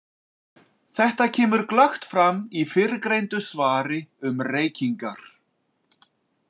Þetta kemur glöggt fram í fyrrgreindu svari um reykingar.